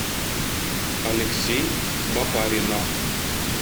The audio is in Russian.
алексей бабаринов